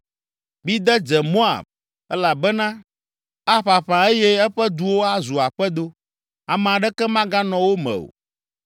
Mide dze Moab elabena aƒaƒã eye eƒe duwo azu aƒedo, ame aɖeke maganɔ wo me o.